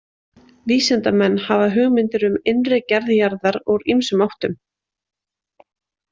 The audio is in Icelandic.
Vísindamenn hafa hugmyndir um innri gerð jarðar úr ýmsum áttum.